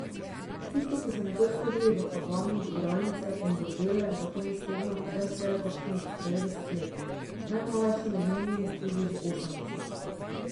Tisti, ki so nekoč hodili v Havano v igralnice in bordele za konec tedna, zdaj štejejo kakšnih devetdeset let, najmlajši med njimi tudi že osemdeset.